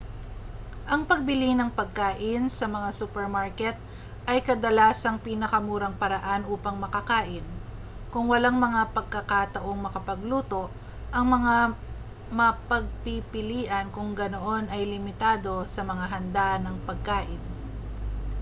ang pagbili ng pagkain sa mga supermarket ay kadalasang pinakamurang paraan upang makakain kung walang mga pagkakataong makapagluto ang mga mapagpipilian kung ganoon ay limitado sa mga handa nang pagkain